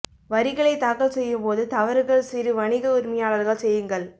வரிகளை தாக்கல் செய்யும் போது தவறுகள் சிறு வணிக உரிமையாளர்கள் செய்யுங்கள்